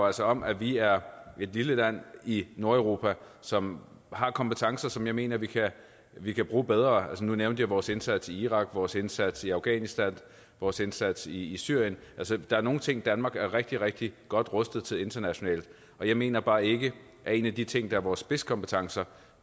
altså om at vi er et lille land i nordeuropa som har kompetencer som jeg mener vi kan vi kan bruge bedre nu nævnte jeg vores indsats i irak vores indsats i afghanistan og vores indsats i syrien altså der er nogle ting danmark er rigtig rigtig godt rustet til internationalt og jeg mener bare ikke at en af de ting der er vores spidskompetencer